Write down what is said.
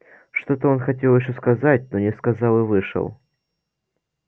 что-то он хотел ещё сказать но не сказал и вышел